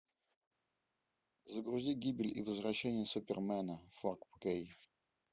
загрузи гибель и возвращение супермена фор кей